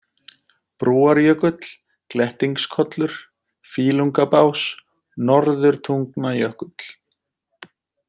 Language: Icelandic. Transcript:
Brúarjökull, Glettingskollur, Fýlungabás, Norðurtungnajökull